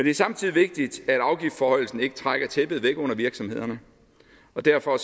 er samtidig vigtigt at afgiftsforhøjelsen ikke trækker tæppet væk under virksomhederne og derfor